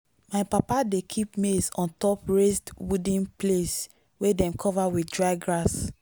my papa dey keep maize on top raised wooden place wey dem cover with dry grass.